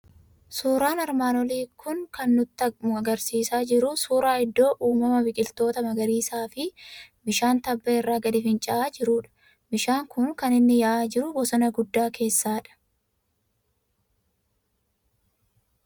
Suuraan armaan olii kan inni nutti argisiisaa jiru suuraa iddoo uumamaaa biqiltoota magariisaa fi bishaan tabba irraa gadi fincaa'aa jirudha. Bishaan kuni kan inni yaa'aa jiru bosona guddaa keessa dha.